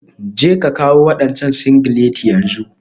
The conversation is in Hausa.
Jeka kawo wadancan singileti yanzu.